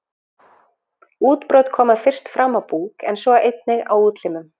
Útbrot koma fyrst fram á búk en svo einnig á útlimum.